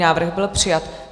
Návrh byl přijat.